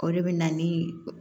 O de bɛ na ni